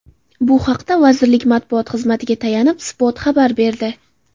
Bu haqda vazirlik matbuot xizmatiga tayanib, Spot xabar berdi .